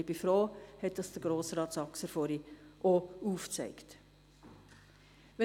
ich bin froh, dass es Grossrat Saxer vorhin auch aufgezeigt hat.